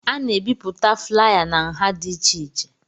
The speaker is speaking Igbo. A na-ebipụta flaya na nha dị iche iche